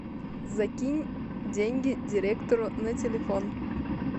закинь деньги директору на телефон